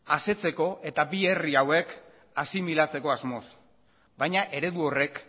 asetzeko eta bi herri hauek asimilatzeko asmoz baina eredu horrek